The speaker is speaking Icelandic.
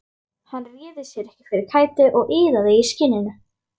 Hann réði sér ekki fyrir kæti og iðaði í skinninu.